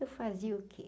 Eu fazia o quê?